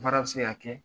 Baara bɛ se ka kɛ